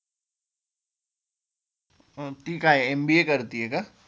ती काय एमबए करतिये का?